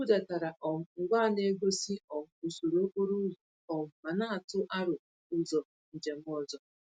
M budatara um ngwa na-egosi um usoro okporo ụzọ um ma na-atụ aro ụzọ njem ọzọ.